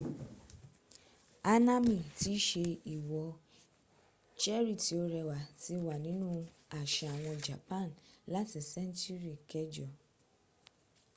hanami tí í ṣe ìwò-cherry-tí-ó-rẹwà ti wà nínú àṣà àwọn japan láti sẹ́ńtúrì kẹjọ